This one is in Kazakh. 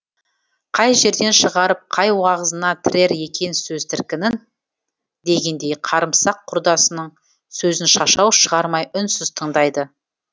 қай жерден шығарып қай уағызына тірер екен сөз тіркінін дегендей қарымсақ құрдасының сөзін шашау шығармай үнсіз тыңдайды